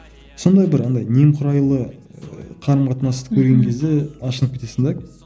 сондай бір андай немқұрайлы қарым қатынасты көрген кезде ашынып кетесің де